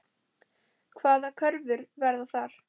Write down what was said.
Hvaða kröfur verða þar?